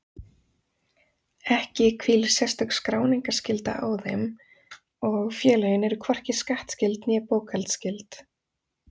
Ekki hvílir sérstök skráningarskylda á þeim og félögin eru hvorki skattskyld né bókhaldsskyld.